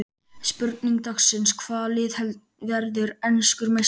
Spurning dagsins: Hvaða lið verður enskur meistari?